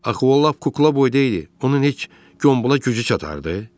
Axı o lap kukla boydaydı, onun heç Gombula gücü çatardı?